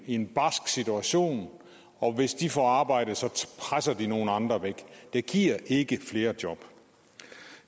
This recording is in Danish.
i en barsk situation og hvis de får arbejde presser de nogle andre væk det giver ikke flere job